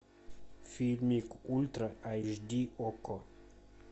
фильмик ультра айч ди окко